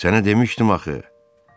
Sənə demişdim axı.